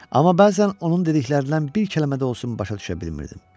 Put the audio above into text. Amma bəzən onun dediklərindən bir kəlmə də olsun başa düşə bilmirdim.